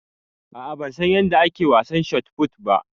A'a ban san yanda ake wasan shotput ba.